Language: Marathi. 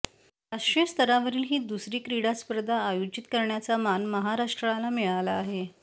राष्ट्रीय स्तरावरील ही दुसरी क्रीडा स्पर्धा आयोजित करण्याचा मान महाराष्ट्राला मिळाला आहे